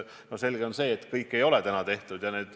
On selge, et kõik ei ole tehtud.